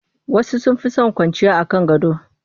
Wasu sun fi son kwanciya a kan gado